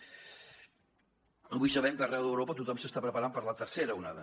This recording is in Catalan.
avui sabem que arreu d’europa tothom s’està preparant per a la tercera onada